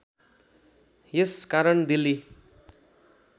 यस कारण दिल्ली